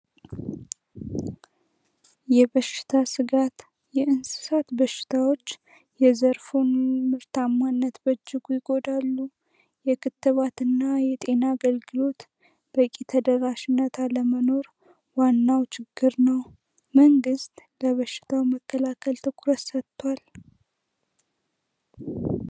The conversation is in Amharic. የበሽታ ስጋት የእንስሳት በሽታዎች የዘርፉ ምርታማነት በእጅጉ ይጎዳሉ የክትባት እና የጤና አገልግሎት በቂ ተደራሽነታ ለመኖር ዋናው ችግር ነው መንግስት ለበሽል ትኩረት ሰጥቷል